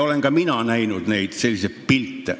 Olen ka mina selliseid pilte näinud.